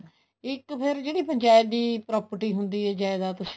ਇੱਕ ਫ਼ੇਰ ਜਿਹੜੀ ਪੰਚਾਇਤ ਦੀ property ਹੁੰਦੀ ਏ ਜਾਇਦਾਦ